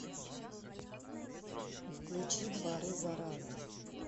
включи дворы заразы